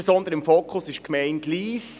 Besonders im Fokus ist die Gemeinde Lyss.